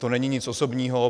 To není nic osobního.